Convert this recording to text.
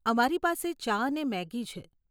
અમારી પાસે ચા અને મેગી છે.